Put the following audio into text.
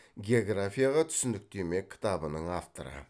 географияға түсініктеме кітабының авторы